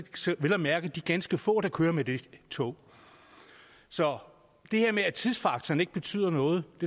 vel at mærke de ganske få der kører med det tog så det her med at tidsfaktoren ikke betyder noget